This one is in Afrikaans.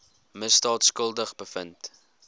misdaad skuldig bevind